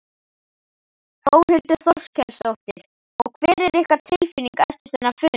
Þórhildur Þorkelsdóttir: Og hver er ykkar tilfinning eftir þennan fund?